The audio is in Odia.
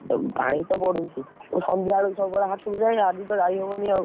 ପାଣି ତ ବଢୁଛି, ସନ୍ଧ୍ୟା ବେଳକୁ ସବୁବେଳେ ହାଟକୁ ଯାଇଁ ଆଜି ତ ଯାଇ ହବନି ଆଉ।